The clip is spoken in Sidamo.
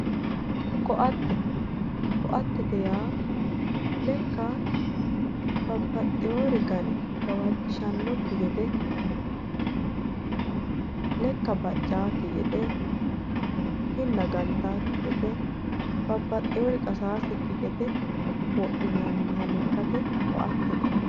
ko'atte yaa lekka babbaxewori gane gawajjishshannokki gede lekka baccaawokki gede kinna gantaawokki gede babbaxewori qasakki gede wodhinanniha lekkate ko'attete yinanni